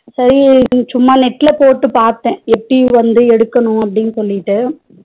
சரி சும்மா net ல போட்டு பாத்த எப்பிடி வந்து எடுக்கணும் அப்டினு சொல்லிட்டு